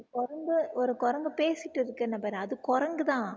குரங்கு ஒரு குரங்கு பேசிட்டு இருக்குன்னு பாரு அது குரங்குதான்